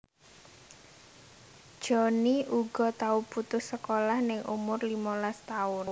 Johnny uga tau putus sekolah ning umur limolas taun